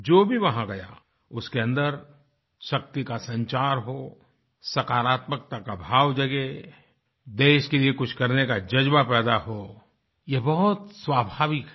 जो भी वहां गया उसके अन्दर शक्ति का संचार हो सकरात्मकता का भाव जगे देश के लिए कुछ करने का जज्बा पैदा हो ये बहुत स्वाभाविक है